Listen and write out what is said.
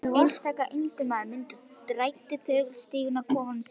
Einstaka einmana munkur þræddi þögull stíginn að kofa sínum.